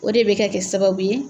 O de bɛ kɛ kɛ sababu ye